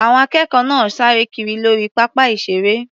Àwọn akẹ́kọ̀ọ́ náà sáré kiri lórí pápá ìṣeré.